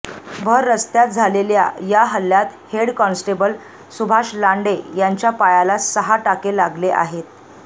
भर रस्त्यात झालेल्या या हल्ल्यात हेड कॉन्स्टेबल सुभाष लांडे यांच्या पायाला सहा टाके लागले आहेत